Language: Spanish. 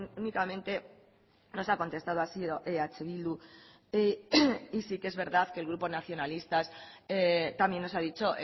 únicamente nos ha contestado ha sido eh bildu y sí que es verdad que el grupo nacionalistas también nos ha dicho